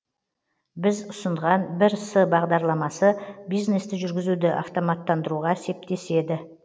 біз ұсынған бірс бағдарламасы бизнесті жүргізуді автоматтандыруға септеседі